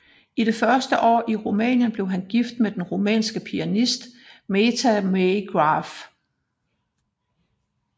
I det første år i Rumænien blev han gift med den rumænske pianist Meta May Graf